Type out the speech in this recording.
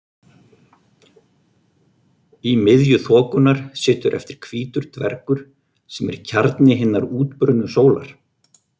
Í miðju þokunnar situr eftir hvítur dvergur sem er kjarni hinnar útbrunnu sólar.